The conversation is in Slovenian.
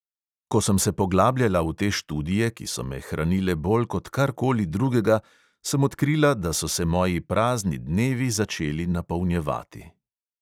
Ko sem se poglabljala v te študije, ki so me hranile bolj kot kar koli drugega, sem odkrila, da so se moji prazni dnevi začeli napolnjevati.